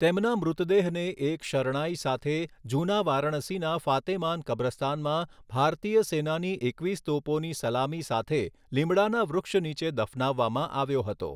તેમના મૃતદેહને એક શરણાઇ સાથે જૂના વારાણસીના ફાતેમાન કબ્રસ્તાનમાં ભારતીય સેનાની એકવીસ તોપોની સલામી સાથે લીમડાના વૃક્ષ નીચે દફનાવવામાં આવ્યો હતો.